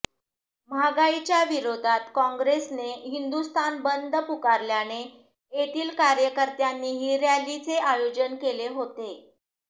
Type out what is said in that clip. महागाईच्या विरोधात काँग्रेसने हिंदुस्थान बंद पुकारल्याने येथील कार्यकर्त्यांनीही रॅलीचे आयोजन केले होते